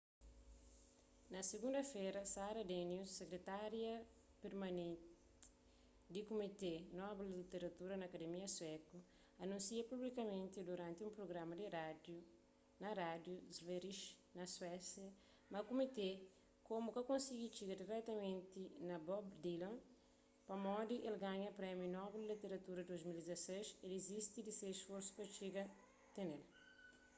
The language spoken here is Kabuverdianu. na sigunda-fera sara danius sekretária permaneti di kumité nobel di literatura na akademia suéku anúnsia publikamenti duranti un prugrama di rádiu na rádiu sveriges na suésia ma kumité komu ka konsigi txiga diretamenti na bob dylan pamodi el ganha prémiu nobel di literatura di 2016 el dizisti di se sforsus pa txiga tn-el